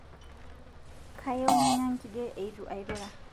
Kayieu nanya nkige eitu ailura